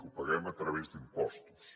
ho paguem a través d’impostos